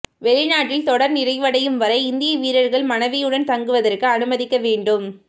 வெளிநாட்டில் தொடர் நிறைவடையும் வரை இந்திய வீரர்கள் மனைவியுடன் தங்குவதற்கு அனுமதிக்க வேண்டும்